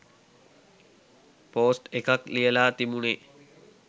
Post එකක් ලියලා තිබුණේ?